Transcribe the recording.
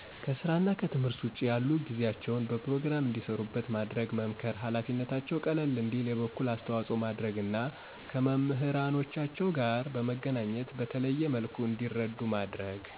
ከስራና ከትምህርት ውጭ ያሉ ጊዜያቸውን በፕሮግራም እንዲሰሩበት ማድረግ መምከር ሀላፊነታቸው ቀለል እንዲል የበኩል አስተዋጾ ማድረግ እና ከመምህራኖቻቸው ጋር በመገናኚት በተለየ መልኩ እንዲረዱ ማድረግ።